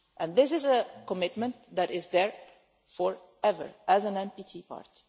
This is a commitment that is there for ever as an NPT part.